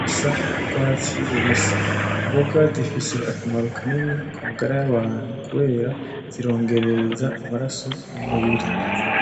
bisa n'ugwatsi rubisi. Imboga zifise akamaro kanini kumagara y'abantu kubera zirongerereza amaraso mu mubiri.